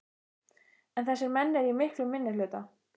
En þessir menn eru í miklum minnihluta.